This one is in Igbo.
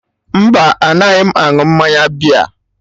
Mba, anaghị m aṅụ mmanya bịa